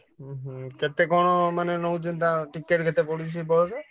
ହୁଁ ହୁଁ କେତେ କଣ ମାନେ ନଉଚନ୍ତି ticket କେତେ ପଡ଼ୁଛି ସେ ବସ?